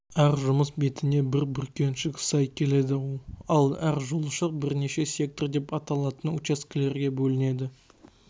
әр жұмыс бетіне бір бүркеншік сай келеді ал әр жолшық бірнеше сектор деп аталатын учаскелерге бөлінеді